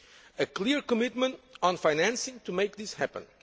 a clear commitment on financing to make this happen